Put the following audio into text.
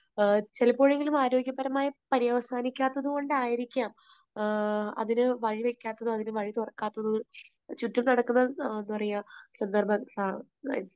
ചിലപ്പോഴെങ്കിലും ആരോഗ്യപരമായ പര്യവസാനിക്കാത്തതുകൊണ്ടായിരിക്കാം അതിനു വഴി വയ്ക്കാത്തത്, അതിന് വഴി തുറക്കാത്തത്. ചുറ്റും നടക്കുന്ന എന്താ പറയുക സന്ദർഭ, സ